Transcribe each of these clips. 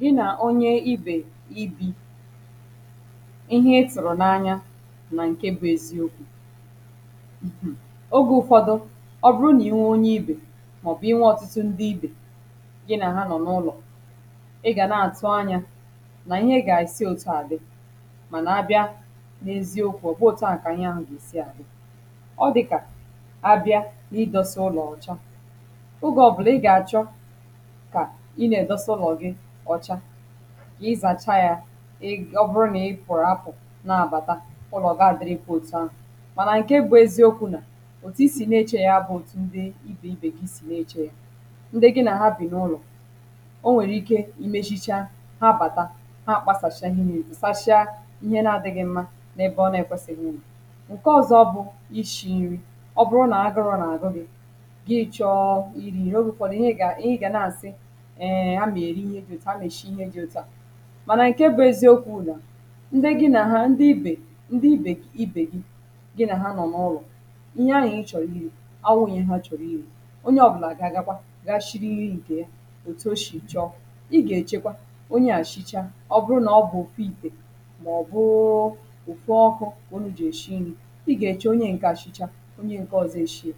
gị nà onye ibè ibi̇ [paues] ihe ị tụ̀rụ̀ n’anya nà ǹke bụ̇ eziokwu̇ [paues]ogė ụ̀fọdụ ọ bụrụ nà iwe onye ibè màọ̀bụ̀ i nwe ọ̀tụtụ ndị ibè gị nà-àha nọ̀ n’ụlọ̀ ị gà na-àtu anyȧ nà ihe gà-esi òtù à dị mànà abịa n’ezi okwu̇ ọbughi òtù ahụ kà ihe ahụ̀ gà-èsi àhụ ọ dị̇kà abịa n’ịdọ̇sa ụlọ̀ ọ̀cha ogė ọbụlà ị gà-àchọ ka I na edosa ụlọ gị ọcha izachaa ya um ọ bụrụ nà ị pụ̀rụ̀ apụ̀ na-abàta ụlọ̀ gaa dịrịkwa òtù ahụ̀ mànà ǹkè ebù eziokwu̇ nà òtù i sì nà-echė ya bụ̇ òtù ndị ibè ibè gị sì nà-echė ya ndị gị nà habì n’ụlọ̀ o nwèrè ike imezicha ha bàta ha kpasàchia ihe niile tusachaa ihe na-adị̇ghị̇ mmȧ n’ebe ọ na-ekwesighi inọ. ǹke ọ̀zọ bụ̇ ishi̇ nri ọ bụrụ nà agụrụ̇ nà àgụ gị̇ gị chọọ iri nri ogè ufọdụ̀ ihe gà ihe gà na-àsị um agam eri ihe dị òtu a agam esi ihe dị òtu à mànà ǹkè bụ̀ eziokwu bu na ndị gị nà ha ndị ibè ndị íbè ibe gị gị nà ha nọ̀ n’ụlọ̀ ihe ahụ ịchọ̀ro iri abụghị ihe ha chọ̀rọ̀ iri onye ọ̀ bụlà gị agakwa gaa shiri nri nke ya òtù o shì chọ ị gà-èchekwa onye à shicha ọ bụrụ nà ọ bụ̀ òfu itè mà ọ̀ bụụụ ụ̀fụ ọkụ onye jì èshi nri ị gà-èche onye a shichaa oburu na ọbu otú ite ma obu um otu ọkụ ka ụnụ jị esi nri I ga eche onye ǹkè a eshicha onye ǹkè ọzọ e shie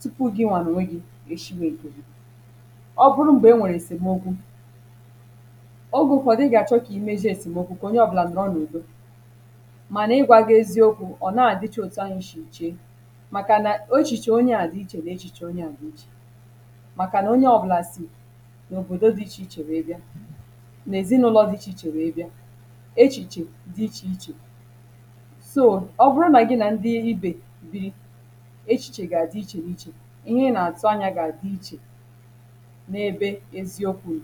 tupu gịwa nonwegị èshiwè nke gì. ọbụrụ m̀gbè e nwèrè èsèmokwu, ogè ụfọdụ gà-àchọ kà imezie èsèmokwu kà onye ọ̀bụlà nọrọ n’ụdọ̀ mànà ịgwȧ gà-ezi okwu ọ̀ nàghi adi ọ̀tù ahụ isi iche màkà nà echiche onye à dì na echìchà onye à dì ichè màkà nà onye ọ̀bụlà si n’òbòdo di ichè ichè were bia, nà èzinụlọ̀ dì ichè ichè were bia echìchè dì ichè ichè so ọbụrụ nà gị nà ndị ibè biri echìchè gà-àdì ichè dì ichè ihe nà-àtụ anyȧ dì ichè ǹa ebe eziokwu nọ